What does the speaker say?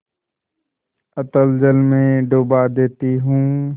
अतल जल में डुबा देती हूँ